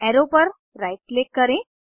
arrow पर right click करें